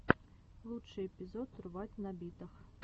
лучший эпизод рвать на битах